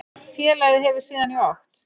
Félagið hefur síðan í okt